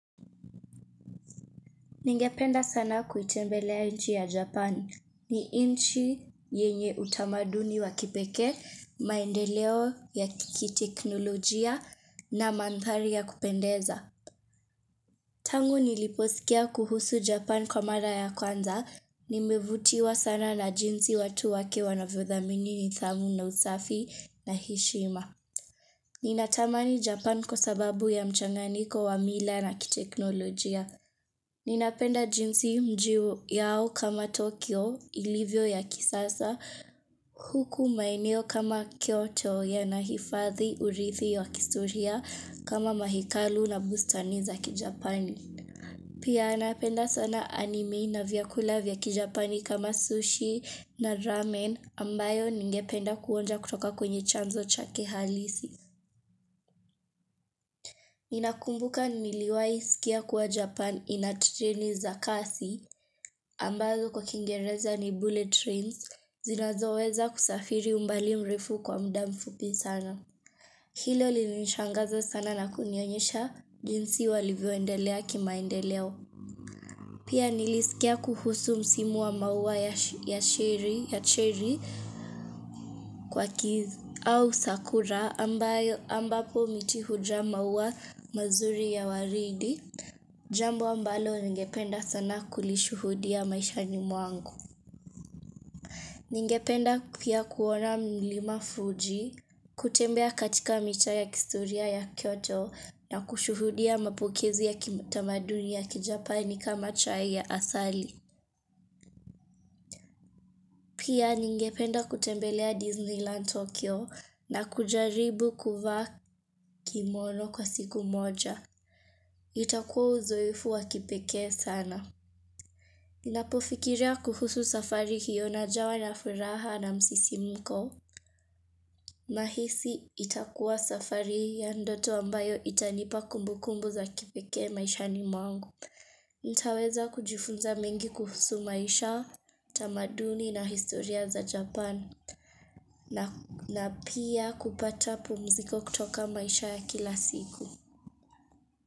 Ningependa sana kuitembelea nchi ya Japan. Ni nchi yenye utamaduni wa kipekee, maendeleo ya kiteknolojia na mandhari ya kupendeza. Tangu niliposikia kuhusu Japan kwa mara ya kwanza, nimevutiwa sana na jinsi watu wake wanavyodhamini nidhamu na usafi na heshima. Ninatamani Japan kwa sababu ya mchanganyiko wa mila na kiteknolojia. Ninapenda jinsi mji yao kama Tokyo ilivyo ya kisasa huku maeneo kama Kyoto yanahifadhi urithi ya kihistoria kama mahekalu na bustani za kijapani. Pia napenda sana anime na vyakula vya kijapani kama sushi na ramen ambayo ningependa kuonja kutoka kwenye chanzo chake halisi. Ninakumbuka niliwahi sikia kuwa Japan ina treni za kasi ambazo kwa kiingereza ni bullet trains zinazoweza kusafiri umbali mrefu kwa muda mfupi sana. Hilo lilinishangaza sana na kunionyesha jinsi walivyoendelea kimaendeleo. Pia nilisikia kuhusu msimu wa maua ya cherry kwa kids au sakura ambapo miti hujaa maua mazuri ya waridi. Jambo ambalo ningependa sana kulishuhudia maishani mwangu. Ningependa pia kuona mlima Fuji, kutembea katika mitaa ya kihistoria ya kyoto na kushuhudia mapokezi ya kitamaduni ya kijapani kama chai ya asali. Pia ningependa kutembelea Disneyland Tokyo na kujaribu kuvaa kimono kwa siku moja. Itakuwa uzoefu wa kipekee sana. Ninapofikiria kuhusu safari hiyo najawa na furaha na msisimko. Nahisi itakuwa safari ya ndoto ambayo itanipa kumbukumbu za kipekee maishani mwangu. Nitaweza kujifunza mengi kuhusu maisha, tamaduni na historia za Japan na pia kupata pumziko kutoka maisha ya kila siku.